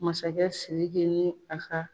Masakɛ Sidiki ni a ka